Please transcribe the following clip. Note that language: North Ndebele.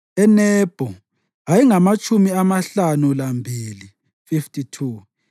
eNebho ayengamatshumi amahlanu lambili (52),